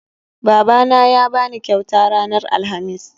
Babana ya bani kyauta ranar Alhamis